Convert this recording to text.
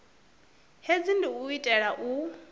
hezwi ndi u itela u